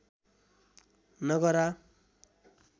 नगरा